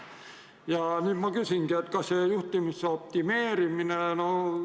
Ja nüüd ma küsingi, kas see juhtimise optimeerimine aitab.